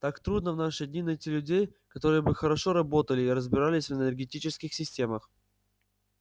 так трудно в наши дни найти людей которые бы хорошо работали и разбирались в энергетических системах